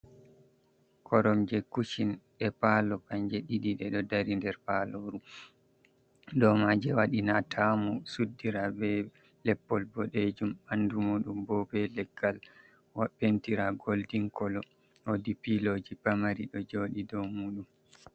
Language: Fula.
Korom je kutching ɗe palo kanje ɗiɗi, ɗiɗo dari nder paloru. Dow maje waɗi na tamu suddira be leppol boɗe jum, ɓandu muɗum bo ɓe leggal andira goldin colo. Wodi piloji paramari ɗo joɗi dow muɗum.